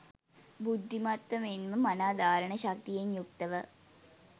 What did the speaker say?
බුද්ධිමත්ව මෙන්ම මනා ධාරණ ශක්තියෙන් යුක්තව